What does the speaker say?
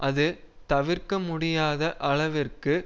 அது தவிர்க்க முடியாத அளவிற்கு